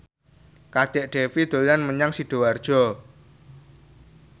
Kadek Devi dolan menyang Sidoarjo